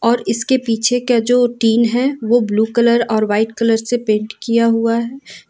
और इसके पीछे क्या जो टीन है वो ब्लू कलर और वाइट कलर से पेंट किया हुआ है।